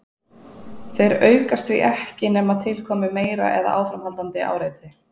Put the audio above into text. Þeir aukast því ekki nema til komi meira eða áframhaldandi áreiti.